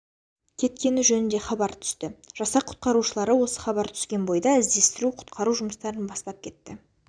кеткені жөнінде хабар түсті жасақ құтқарушылары осы хабар түскен бойда іздестіру құтқару жұмыстарын бастап кетті